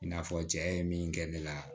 I n'a fɔ cɛ ye min kɛ ne la